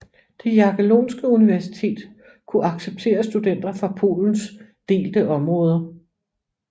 Det Jagellonske universitet kunne acceptere studenter fra Polens delte områder